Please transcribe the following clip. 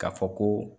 K'a fɔ ko